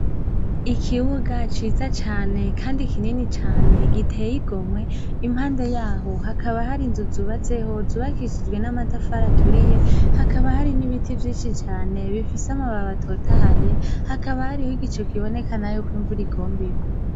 Ikibuga ciza cane kandi kinini cane giteye igomwe. Impande yaho hakaba hari inzu zubatseho, zubakishijwe n’amatafari aturiye, hakaba hari n’ibiti vyinshi cane bifise amababi atotahaye, hakaba hariho igicu kiboneka nayo ko imvura igomba irwe.